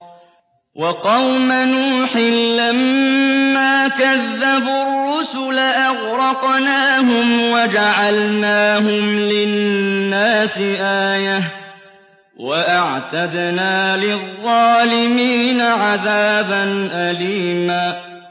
وَقَوْمَ نُوحٍ لَّمَّا كَذَّبُوا الرُّسُلَ أَغْرَقْنَاهُمْ وَجَعَلْنَاهُمْ لِلنَّاسِ آيَةً ۖ وَأَعْتَدْنَا لِلظَّالِمِينَ عَذَابًا أَلِيمًا